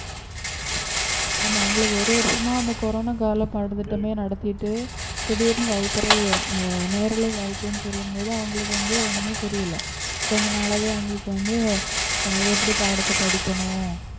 ஆமா அவங்களுக்கு ஒரு வருஷமா அந்த கொரோனா கால பாடத்திட்டமே நடத்திட்டு திடீர்னு வகுப்பறை அஹ் நேரலை வகுப்புன்னு சொல்லும் போது அவங்களுக்கு வந்து ஒண்ணுமே புரியல கொஞ்ச நாளாவே அவங்களுக்கு அஹ் வந்து எப்படி பாடத்தை படிக்கணும்